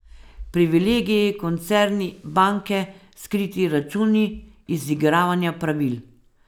Privilegiji, koncerni, banke, skriti računi, izigravanja pravil ...